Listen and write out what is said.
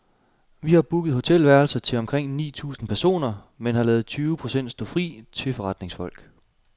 Vi har booket hotelværelser til omkring ni tusind personer, men ladet tyve procent stå fri til forretningsfolk.